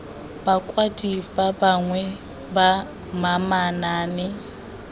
bakwadi ba bangwe ba manaane